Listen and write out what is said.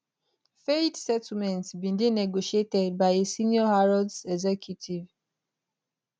fayed settlement bin dey negotiated by a senior harrods executive